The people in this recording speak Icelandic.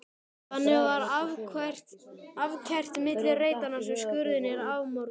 Þannig var akfært milli reitanna sem skurðirnir afmörkuðu.